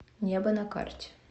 небо на карте